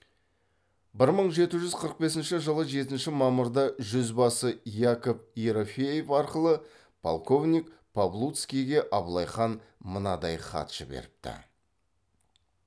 бір мың жеті жүз қырық бесінші жылы жетінші мамырда жүзбасы яков ерофеев арқылы полковник павлуцкийге абылай хан мынадай хат жіберіпті